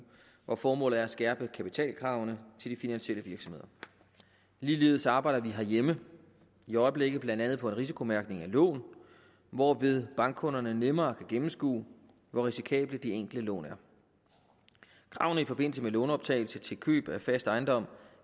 hvor formålet er at skærpe kapitalkravene til de finansielle virksomheder ligeledes arbejder vi herhjemme i øjeblikket blandt andet på en risikomærkning af lån hvorved bankkunderne nemmere kan gennemskue hvor risikable de enkelte lån er kravene i forbindelse med lånoptagelse til køb af fast ejendom